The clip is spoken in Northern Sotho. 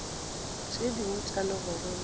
tše dingwe tša legoro la